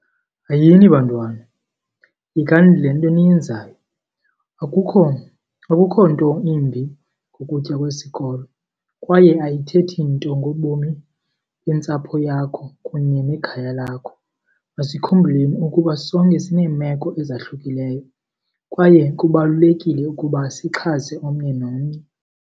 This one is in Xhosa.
Hayini bantwana, yekani le nto niyenzayo. Akukho, akukho nto imbi ngokutya kwesikolo kwaye ayithethi nto ngobomi bentsapho yakho kunye nekhaya lakho. Masikhumbuleni ukuba sonke sineemeko ezahlukileyo kwaye kubalulekile ukuba sixhase omnye nomnye.